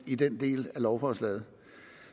i den del af lovforslaget